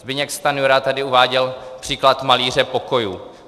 Zbyněk Stanjura tady uváděl příklad malíře pokojů.